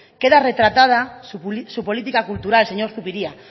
queda retratada su política cultural señor zubiria